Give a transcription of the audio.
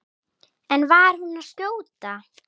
En var hún að skjóta?